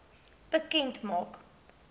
bekend maak